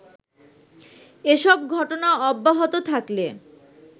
এসব ঘটনা অব্যাহত থাকলে